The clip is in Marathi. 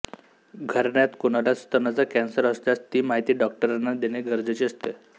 घराण्यात कोणाला स्तनाचा कॅन्सर असल्यास ती माहिती डॉक्टरांना देणे गरजेचे असते